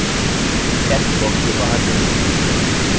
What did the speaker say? text box से बाहर कहीं भी click करें